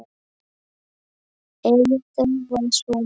Eyþór var svona.